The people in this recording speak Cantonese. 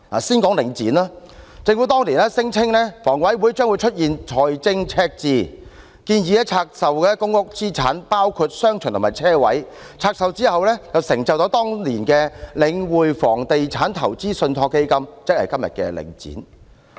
先說領展，政府當年聲稱香港房屋委員會將會出現財政赤字，建議拆售公屋資產，包括商場及車位，在拆售後便成就了當年的領匯房地產投資信託基金，即今天的領展。